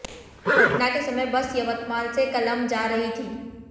घटना के समय बस यवतमाल से कलंब जा रहीं थी